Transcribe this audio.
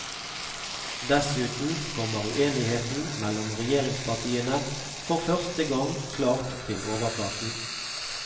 Dessuten kommer uenigheten mellom regjeringspartiene for første gang klart til overflaten.